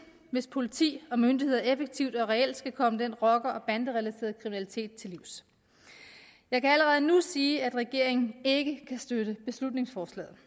hvis politi og myndigheder effektivt og reelt skal komme den rocker og banderelaterede kriminalitet til livs jeg kan allerede nu sige at regeringen ikke kan støtte beslutningsforslaget